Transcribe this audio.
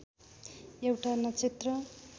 एउटा नक्षेत्र